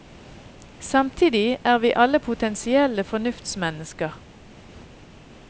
Samtidig er vi alle potensielle fornuftsmennesker.